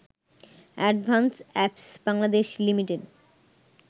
Advanced apps Bangladesh Li.